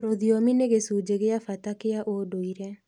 Rũthiomi nĩ gĩcunjĩ gĩa bata kĩa ũndũire.